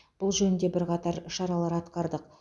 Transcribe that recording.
бұл жөнінде бірқатар шаралар атқардық